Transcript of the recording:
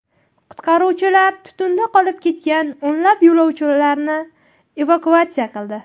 Qutqaruvchilar tutunda qolib ketgan o‘nlab yo‘lovchilarni evakuatsiya qildi.